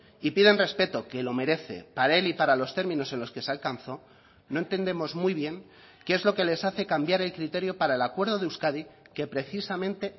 y piden respeto que lo merece para él y para los términos en los que se alcanzó no entendemos muy bien qué es lo que les hace cambiar el criterio para el acuerdo de euskadi que precisamente